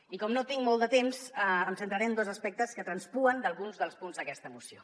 i com no tinc molt de temps em centraré en dos aspectes que traspuen d’alguns dels punts d’aquesta moció